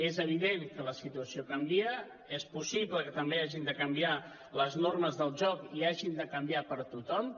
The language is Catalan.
és evident que la situació canvia és possible que també hagin de canviar les normes del joc i hagin de canviar per tothom